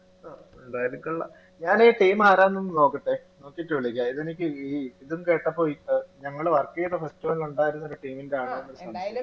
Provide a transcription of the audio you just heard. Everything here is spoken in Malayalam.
ആഹ് ഞാൻ ഈ team ആരാണ്ന്നു നോക്കട്ടെ നോക്കീട്ട് വിളിക്കാം എനിക്ക് ഈ ഇതും കേട്ടപ്പോ ഞങ്ങള് work ചെയ്ത festival നുണ്ടായിരുന്ന ഒരു team ന്റെ ആണോന്നൊരു സംശയം